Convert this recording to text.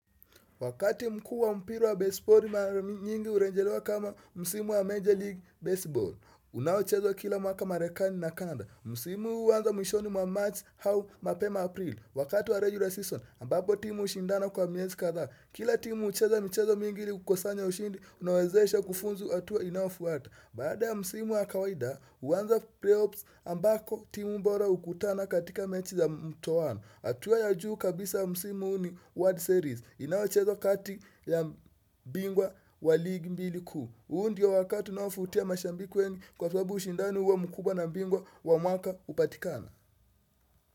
Wakati mkuu wa mpira wa basebali mara nyingi urejelewa kama msimu wa Major League Baseball. Unaochezwa kila mwaka Marekani na Kanada. Msimu huanza mwishoni wa March au mapema April. Wakati wa regular season ambapo timu hushindana kwa miezi kadhaa. Kila timu hucheza mchezo mingi ili kukosanya ushindi unaowezesha kufunzu hatua inayofuata. Baada ya msimu wa kawaida huanza preps ambako timu bora hukutana katika mechi za mtoano. Hatua ya juu kabisa msimu huu ni wolrd series. Inayochezo kati ya bingwa wa ligi mbili kuu huu ndio wakati unaovutia mashabiki wengi kwa sababu ushindani huwa mkubwa na bingwa wa mwaka hupatikana.